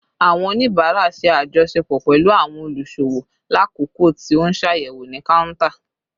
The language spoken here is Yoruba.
Awọn onibara ṣe ajọṣepọ pẹlu awọn oluṣowo lakoko ti o n ṣayẹwo ni counter